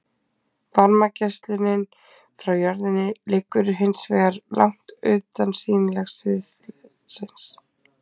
Varmageislunin frá jörðinni liggur hins vegar langt utan sýnilega sviðsins.